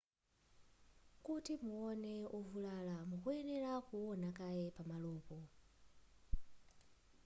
kuti muone wovulala mukuyenera kuona kaye pamalopo